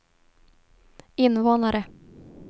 invånare